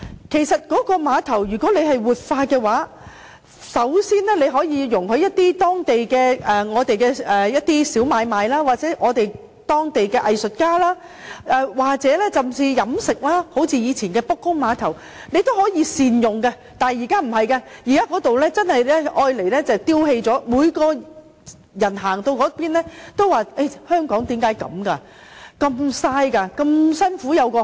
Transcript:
其實，如果可以活化碼頭，首先容許區內一些小買賣進行，又或讓當地的藝術家甚至飲食業營運，像以前的卜公碼頭般，從而善用地方，但現在卻不是，碼頭只是被丟棄，人人路經該處也不禁會問香港為甚麼如此浪費？